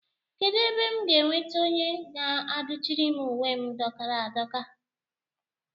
Kedụ ebe m ga-enweta onye ga-adụchiri m uwe m dọkara adọka?